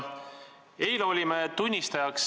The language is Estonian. Hea vastaja!